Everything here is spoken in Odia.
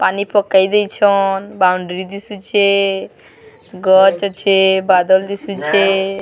ପାନି ପକେଇ ଦେଇଛନ ବାଉଣ୍ଡ୍ରି ଦିଶୁଛେ ଗଛ ଅଛେ ବାଦଲ ଦିଶୁଛେ-- .